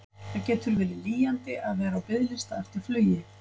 Það getur verið lýjandi að vera á biðlista eftir flugi.